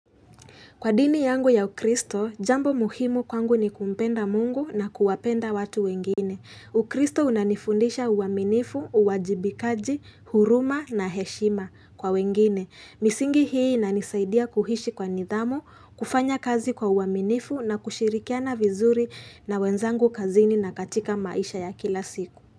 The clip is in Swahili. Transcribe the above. Kwa dini yangu ya ukristo, jambo muhimu kwangu ni kumpenda mungu na kuwapenda watu wengine. Ukristo unanifundisha uaminifu, uwajibikaji, huruma na heshima kwa wengine. Misingi hii nanisaidia kuhishi kwa nidhamu, kufanya kazi kwa uaminifu na kushirikiana vizuri na wenzangu kazini na katika maisha ya kila siku.